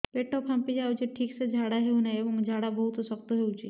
ପେଟ ଫାମ୍ପି ଯାଉଛି ଠିକ ସେ ଝାଡା ହେଉନାହିଁ ଏବଂ ଝାଡା ବହୁତ ଶକ୍ତ ହେଉଛି